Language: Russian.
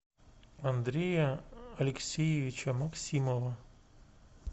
андрея алексеевича максимова